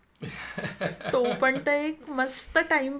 तो पण त एक मस्त टाईमपास होता नाही का